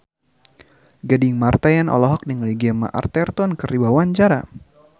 Gading Marten olohok ningali Gemma Arterton keur diwawancara